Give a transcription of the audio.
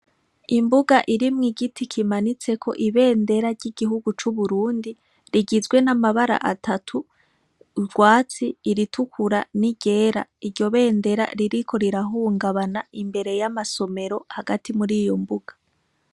Imbuga irimwo igiti kimanitseko ibendera ry'igihugu c'uburundi rigizwe n'amabara atatu urwatsi iritukura ni ryera, iryo bendera ririko rirahungabana imbere y'amasomero hagati muri iyo mbuga.